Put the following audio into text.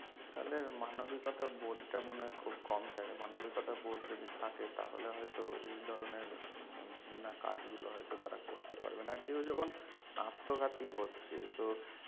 তাদের মানবিকতা বলতে মনে হয় খুব কম থাকে মানবিকতা বোধ যদি থাকে তাহলে হতো এই ধরনের ঘৃণা কাজ গুলো হতো তারা করতে পারবে না কেও যখন আত্মঘাতী হচ্ছে তো